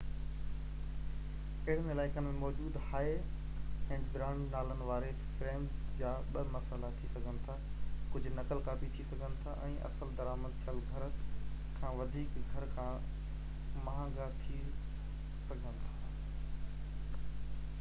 اهڙن علائقن ۾ موجود هائي-اينڊ برانڊ نالن واري فريمز جا ٻه مسئلا ٿي سگهن ٿا ڪجهه نقل ڪاپي ٿي سگهن ٿا ۽ اصل درآمد ٿيل گهر کان وڌيڪ گهر کان مهانگا ٿي سگهن ٿا